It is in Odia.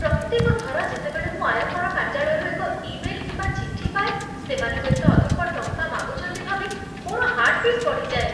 ପ୍ରତ୍ୟେକ ଥର ଯେତେବେଳେ ମୁଁ ଆୟକର କାର୍ଯ୍ୟାଳୟରୁ ଏକ ଇମେଲ କିମ୍ବା ଚିଠି ପାଏ, ସେମାନେ ହୁଏତ ଅଧିକ ଟଙ୍କା ମାଗୁଛନ୍ତି ଭାବି ମୋର ହାର୍ଟ ବିଟ୍ ବଢ଼ିଯାଏ।